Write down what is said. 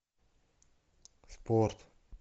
спорт